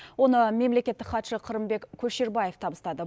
оны мемлекеттік хатшы қырымбек көшербаев табыстады